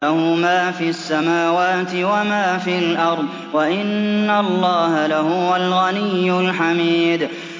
لَّهُ مَا فِي السَّمَاوَاتِ وَمَا فِي الْأَرْضِ ۗ وَإِنَّ اللَّهَ لَهُوَ الْغَنِيُّ الْحَمِيدُ